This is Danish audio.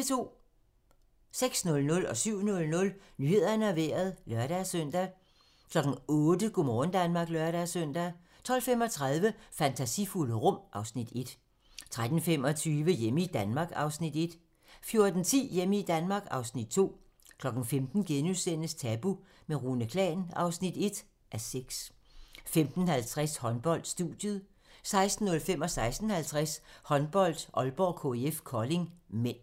06:00: Nyhederne og Vejret (lør-søn) 07:00: Nyhederne og Vejret (lør-søn) 08:00: Go' morgen Danmark (lør-søn) 12:35: Fantasifulde rum (Afs. 1) 13:25: Hjemme i Danmark (Afs. 1) 14:10: Hjemme i Danmark (Afs. 2) 15:00: Tabu - med Rune Klan (1:6)* 15:50: Håndbold: Studiet 16:05: Håndbold: Aalborg-KIF Kolding (m) 16:50: Håndbold: Aalborg-KIF Kolding (m)